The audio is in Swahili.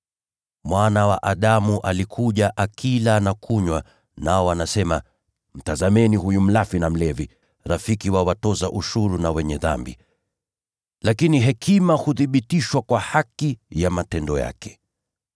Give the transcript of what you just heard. Mwana wa Adamu alikuja akila na kunywa, nao wanasema, ‘Tazameni huyu mlafi na mlevi, rafiki wa watoza ushuru na “wenye dhambi.” ’ Lakini hekima huthibitishwa kuwa kweli kwa matendo yake.”